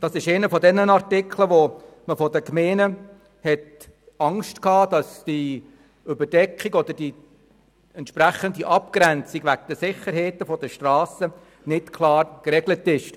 der SiK. Das ist einer der Artikel, wo man seitens Gemeinden Angst hatte, dass die Abgrenzung bezüglich der Sicherheit der Strassen nicht klar geregelt ist.